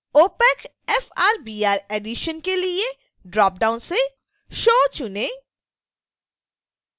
opac frbr editions के लिए dropdown से show चुनें